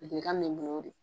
Ladilikan bɛ n bolo o de ye